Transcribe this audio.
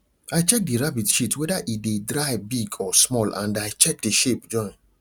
i check the rabbits shit whether e dey dry big or small and i check the shape join